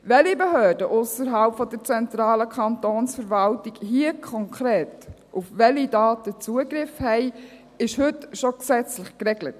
Welche Behörden ausserhalb der zentralen Kantonsverwaltung hier konkret auf welche Daten Zugriff haben, ist heute schon gesetzlich geregelt.